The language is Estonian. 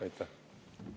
Aitäh!